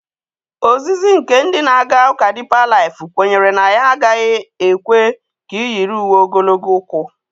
Ozizi nke ndị na-aga ụka Dipa laịf kwenyere na ya agaghị ekwe ka ị yiri uwe ogologo ụkwụ.